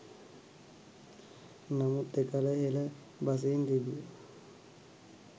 නමුත් එකල හෙළ බසින් තිබූ